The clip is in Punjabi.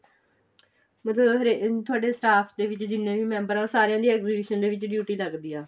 ਮਤਲਬ ਤੁਹਾਡੇ staff ਦੇ ਜਿੰਨੇ ਵੀ member ਏ ਉਹ ਸਾਰਿਆ ਦੀ exhibition ਦੇ ਵਿੱਚ duty ਲੱਗਦੀ ਆ